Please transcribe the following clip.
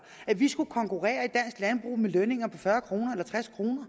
at vi skulle konkurrere med lønninger på fyrre kroner